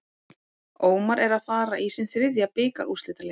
Ómar er að fara í sinn þriðja bikarúrslitaleik.